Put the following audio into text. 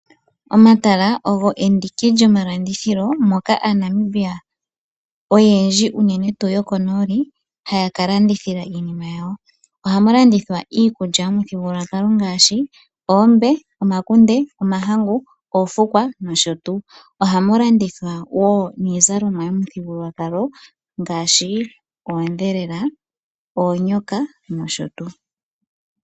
Omatala ogo enduki lyomamalandithilo moka aaNamibia oyendji unene tuu yokonooli haya ka landithila iinima yawo. Ohama landithwa iikulya momuthigululwakalo ngaashi oombe, omakunde, omahangu, oofukwa nosho tuu. Ohama landithwa woo niizalomwa yopamuthigululwakalo ngaashi oondhelela, oonyoka nosho tuu.